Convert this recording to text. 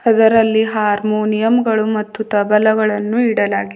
ಅದರಲ್ಲಿ ಹಾರೋನಿಯಮ್ ಗಳು ಮತ್ತು ತಬಲಗಳನ್ನು ಇಡಲಾಗಿ --